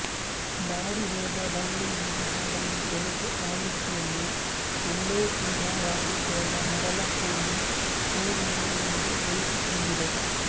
body ಹೋದ ಬಳ್ಳಿಯಿಂದ ಹಾಡನ್ನು ತೆಲುಗು ಆವೃತ್ತಿಯಲ್ಲಿ ಮಲ್ಲೇತೀಗ ವಾಡಿಪೋಗ ಮರಲ ಪೂಲು ಪೂಯುನಾ ಎಂದು ಉಳಿಸಿಕೊಂಡಿದೆ